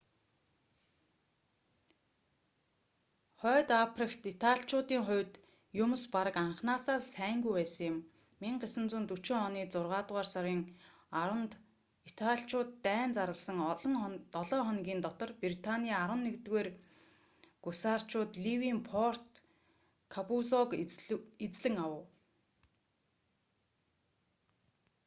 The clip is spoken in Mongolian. хойд африкт италичуудын хувьд юмс бараг анхнаасаа л сайнгүй байсан юм 1940 оны зургаадугаар сарын 10-нд италичууд дайн зарласан долоо хоногийн дотор британий 11-р гусарчууд ливийн форт каппузог эзлэн авав